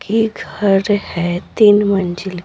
की घर है तीन मंजिल--